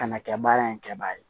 Ka na kɛ baara in kɛbaga ye